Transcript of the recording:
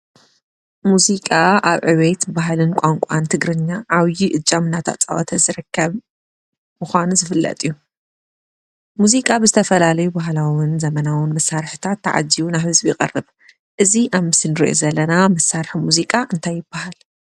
ሙዚቃ ኣብ ዕቤት ባህልን ቋንቋን ትግርኛ ዓብይ እጃም እንዳተፃወተ ዝርከብ ምዃኑ ዝፍለጥ እዩ፡፡ ሙዚቃ ብዝተፈላለየ ባህላውን ዘመናውን መሳርሕታት ተዓጂቡ ናብ ህዝቢ ይቐርብ፡፡ እዚ ኣብ ምስሊ ንሪኦ ዘለና መሳርሒ ሙዚቃ ከ እንታይ ይባሃል?